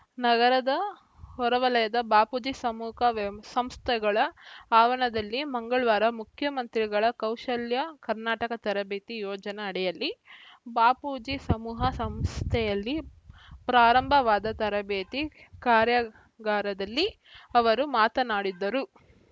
ನಗರದ ಹೊರವಲಯದ ಬಾಪೂಜಿ ಸಮೂಕ ವ್ಯವ್ ಹ ಸಂಸ್ಥೆಗಳ ಆವರಣದಲ್ಲಿ ಮಂಗಳವಾರ ಮುಖ್ಯಮಂತ್ರಿಗಳ ಕೌಶಲ್ಯ ಕರ್ನಾಟಕ ತರಬೇತಿ ಯೋಜನ ಅಡಿಯಲ್ಲಿ ಬಾಪೂಜಿ ಸಮೂಹ ಸಂಸ್ಥೆಯಲ್ಲಿ ಪ್ರಾರಂಭವಾದ ತರಬೇತಿ ಕಾರ್ಯಾಗಾರದಲ್ಲಿ ಅವರು ಮಾತನಾಡಿದರು